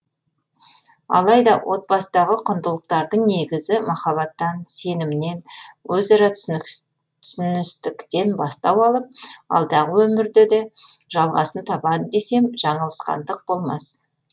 алайда отбасыдағы құндылықтардың негізі махаббаттан сенімнен өзара түсіністіктен бастау алып алдағы өмірде де жалғасын табады десем жаңылысқандық болмас